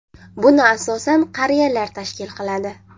Buni asosan qariyalar tashkil qiladi.